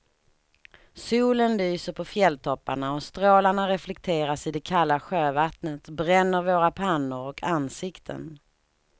Solen lyser på fjälltopparna och strålarna reflekteras i det kalla sjövattnet, bränner våra pannor och ansikten.